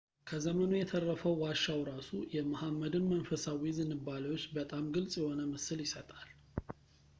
ከዘመኑ የተረፈው ዋሻው ራሱ የመሐመድን መንፈሳዊ ዝንባሌዎች በጣም ግልፅ የሆነ ምስል ይሰጣል